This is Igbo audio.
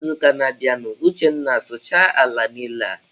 N'izuụka na-abịanụ, Uchenna sụchaa ala niile a!.